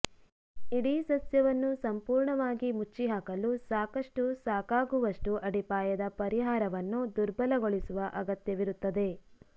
ಇಡೀ ಸಸ್ಯವನ್ನು ಸಂಪೂರ್ಣವಾಗಿ ಮುಚ್ಚಿಹಾಕಲು ಸಾಕಷ್ಟು ಸಾಕಾಗುವಷ್ಟು ಅಡಿಪಾಯದ ಪರಿಹಾರವನ್ನು ದುರ್ಬಲಗೊಳಿಸುವ ಅಗತ್ಯವಿರುತ್ತದೆ